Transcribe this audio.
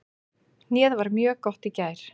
Hnéð var mjög gott í gær.